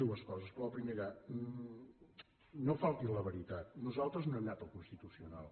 dues coses però la primera no falti a la veritat nosaltres no hem anat al constitucional